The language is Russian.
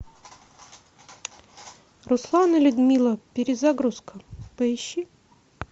руслан и людмила перезагрузка поищи